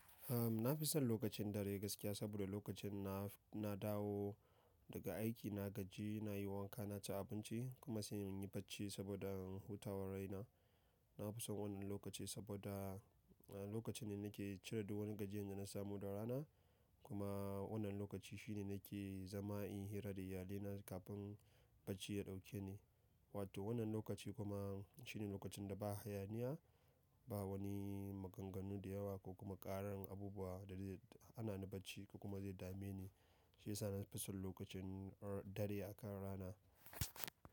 Ahm, na fi son lokacin dare gaskiya saboda lokacin na, na dawo daga aiki na gaji, nayi wanka naci abinci kuma sai inyi bacci saboda in huta wa raina na fi son wannan lokaci saboda lokaci ne nake cire duk wani gajiyan da na samu da rana kuma wannan lokaci shine nake zama inyi hira da iyalai na kafin barcinya dauke ni wato wanan lokaci kuma shine lokacin da ba hayaniya ba wane maganganu da yawa ko kuma karar abubuwa da zai hanani bacci ko kuma zai dame ni shi yasa nafisan lokacin dare a kan rana.